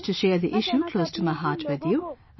I wish to share the issue close to my heart with you